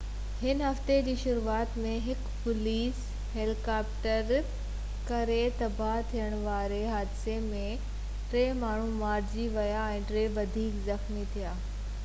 هن هفتي جي شروع ۾ هڪ پوليس هيليڪاپٽر ڪري تباهه ٿيڻ واري حادثي ۾ ٽي ماڻهو مارجي ويا ۽ ٽي وڌيڪ زخمي ٿيا